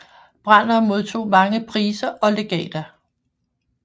Branner modtog mange priser og legater